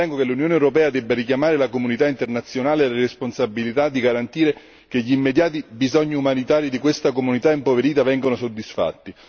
Ritengo che l'Unione europea debba richiamare la comunità internazionale alle responsabilità di garantire che gli immediati bisogni umanitari di questa comunità impoverita vengano soddisfatti.